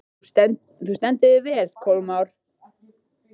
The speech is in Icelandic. Þú stendur þig vel, Kolmar!